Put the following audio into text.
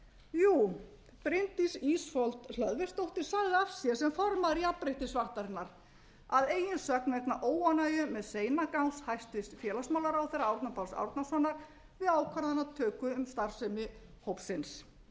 jú bryndís ísfold hlöðversdóttir sagði af sér sem formaður jafnréttissáttarinnar að eigin sögn vegna óánægju með seinagang hæstvirts félagsmálaráðherra árna páls árnasonar við ákvarðanatöku um starfsemi hópsins